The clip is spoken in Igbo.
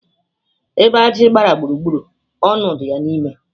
Ebe aji gbara gburu gburu, na onu di ya nime